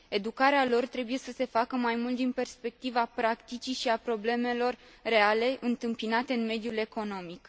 Educarea lor trebuie să se facă mai mult din perspectiva practicii și a problemelor reale întâmpinate în mediul economic.